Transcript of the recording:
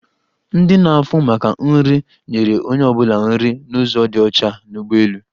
Ndi na-áhụ̀ maka nri, nyere onye ọ bụla nri n'ụzo dị ọcha n'ụgbọelu.